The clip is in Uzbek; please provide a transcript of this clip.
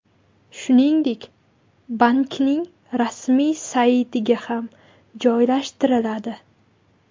Shuningdek, bankning rasmiy saytiga ham joylashtiriladi.